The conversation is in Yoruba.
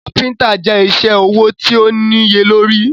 Káfíntà je isẹ́ ọwọ̀ tó níye lórí.